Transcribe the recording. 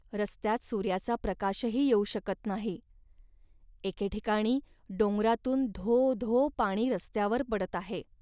रस्त्यात सूर्याचा प्रकाशही येऊ शकत नाही. एके ठिकाणी डोंगरातून धो धो पाणी रस्त्यावर पडत आहे